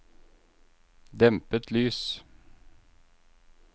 dempet lys